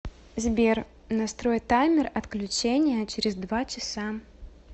сбер настрой таймер отключения через два часа